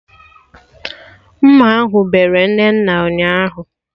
Mma ahụ bere Nnenna ụnyaahụ